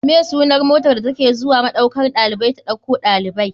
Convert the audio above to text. Me sunar motar da take zuwa maɗaukan ɗalibai ta ɗauko ɗalibai?